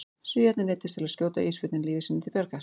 Svíarnir neyddust til að skjóta ísbjörninn lífi sínu til bjargar.